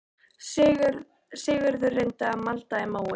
Sigurður reyndi að malda í móinn